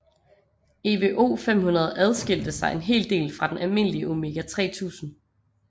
EVO 500 adskilte sig en hel del fra den almindelige Omega 3000